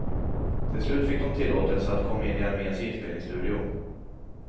Till slut fick de tillåtelse att komma in i arméns inspelningsstudio.